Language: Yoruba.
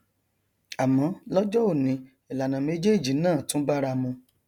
àmọ lọjọ òní ìlànà méjéèjì náà tún báramu